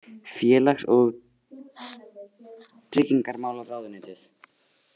Félags- og tryggingamálaráðuneytið.